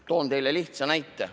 Toon teile lihtsa näite.